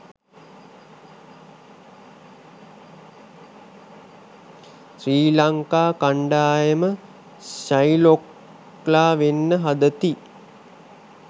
ශ්‍රී ලංකා කණ්ඩායම ශයිලොක්ලා වෙන්න හදති